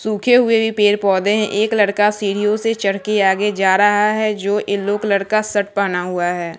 सूखे हुए पेड़ पौधे हैं एक लड़का सीढ़ियों से चढ़ कर आगे जा रहा है जो येलो कलर का शर्ट पहना हुआ है।